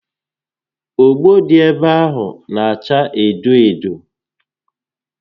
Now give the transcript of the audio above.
Ogbo dị ebe ahụ n'acha edo edo